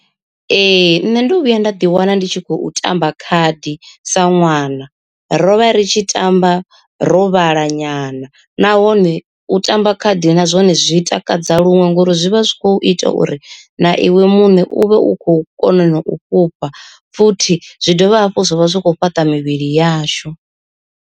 Ee nṋe ndo vhuya nda ḓi wana ndi tshi khou tamba khadi sa ṅwana, ro vha ri tshi tamba ro vhala nyana nahone u tamba khadi na zwone zwi takadza luṅwe ngori zwi vha zwi kho ita uri na iwe muṋe u vhe u khou kona na u fhufha, futhi zwi dovha hafhu zwa vha zwi khou fhaṱa mivhili yashu.